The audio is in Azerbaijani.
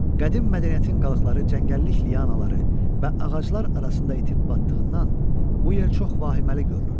Qədim mədəniyyətin qalıqları cəngəllik lianaları və ağaclar arasında itib batdığından bu yer çox vahiməli görünürdü.